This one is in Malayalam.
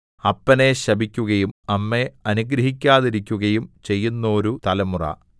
അപ്പനെ ശപിക്കുകയും അമ്മയെ അനുഗ്രഹിക്കാതിരിക്കുകയും ചെയ്യുന്നോരു തലമുറ